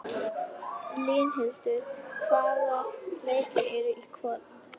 Línhildur, hvaða leikir eru í kvöld?